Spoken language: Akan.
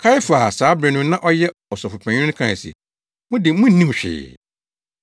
Kaiafa a saa bere no na ɔyɛ ɔsɔfopanyin no kae se, “Mo de munnim hwee!